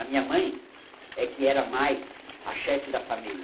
A minha mãe é que era mais a chefe da família.